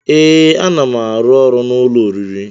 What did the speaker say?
Ee, a na m arụ ọrụ n'ụlọ oriri